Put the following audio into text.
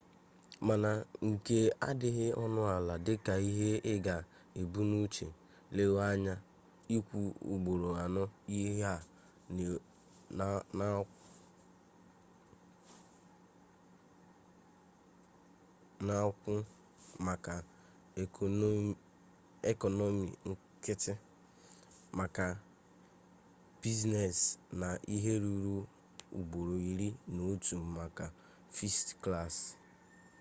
mana nke a adịghị ọnụ ala dịka ihe i ga-ebu n'uche lewe anya ịkwụ ugboro anọ ihe a na-akwụ maka ekọnọmi nkịtị maka biznes na ihe ruru ugboro iri na otu maka fest klas